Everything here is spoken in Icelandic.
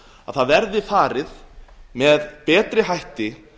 að það verði farið með betri hætti